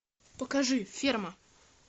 покажи ферма